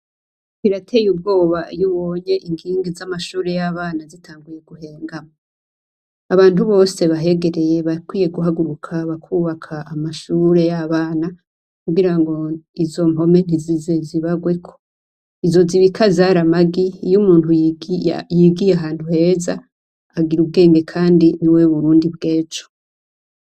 Birateye ubwoba iyo ubonye inkingi zamashure yabana iyo zitanguye guhengama abantu bose bahegereye barakwiye guhaguruka bakwubaka amashure yabana kugirango izo mpome ntizize zibagweko izo zibika zari amagi iyo umuntu yigiye ahantu heza agira ubwenge kandiniwe burundi bwejo